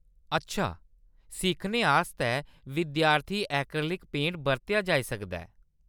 अच्छा, सिक्खने आस्तै विद्यार्थी ऐक्रेलिक पेंट दा बरतेआ जाई सकदा ऐ।